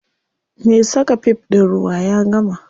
Me saka fif ɗin ruwa ya gama.